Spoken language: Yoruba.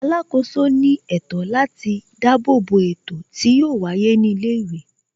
Alákòóso ní ètò láti ṣùgbà bo ètò tí yóò wáyé ní ilé ìwé